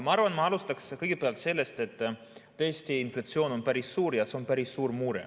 Ma arvan, et ma alustan kõigepealt sellest, et tõesti inflatsioon on päris suur ja see on päris suur mure.